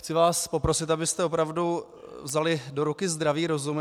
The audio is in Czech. Chci vás poprosit, abyste opravdu vzali do ruky zdravý rozum.